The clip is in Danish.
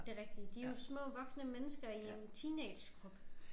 Det rigtige de jo små voksne mennesker i en teenagekrop